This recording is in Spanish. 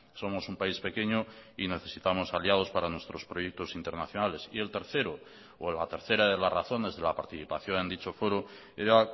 somos un país pequeño y necesitamos aliados para nuestros proyectos internacionales y el tercero o la tercera de las razones de la participación en dicho foro era